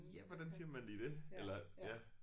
Ja hvordan siger man lige det eller ja